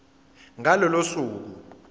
ngalo lolo suku